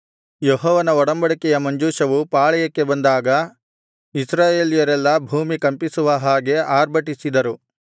ಯೆಹೋವನ ಒಡಂಬಡಿಕೆಯ ಮಂಜೂಷವು ಪಾಳೆಯಕ್ಕೆ ಬಂದಾಗ ಇಸ್ರಾಯೇಲ್ಯರೆಲ್ಲಾ ಭೂಮಿ ಕಂಪಿಸುವ ಹಾಗೆ ಆರ್ಭಟಿಸಿದರು